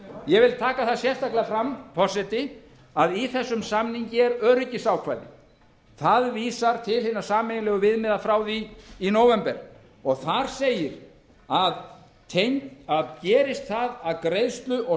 ég vil taka það sérstaklega fram forseti að í þessum samningi er öryggisákvæði það vísar til hinna sameiginlegu viðmiða frá því í nóvember og þar segir að gerist það að greiðslu og